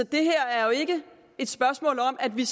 det her er jo ikke et spørgsmål om at vi